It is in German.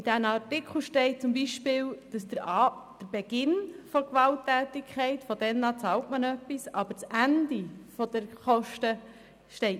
In den Artikeln steht zum Beispiel, dass man vom Beginn der Gewalttätigkeiten an bezahlt, aber das Ende der Kostenübernahme ist nirgendwo festgehalten.